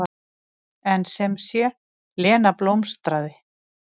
En sem sé, Lena blómstraði.